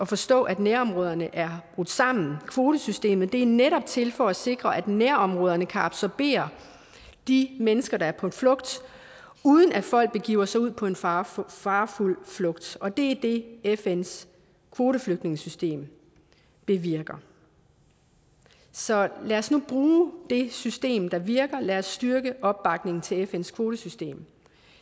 forstå at nærområderne er brudt sammen kvotesystemet er netop til for at sikre at nærområderne kan absorbere de mennesker der er på flugt uden at folk begiver sig ud på en farefuld farefuld flugt og det er det fns kvoteflygtningesystem bevirker så lad os nu bruge det system der virker lad os styrke opbakningen til fns kvotesystem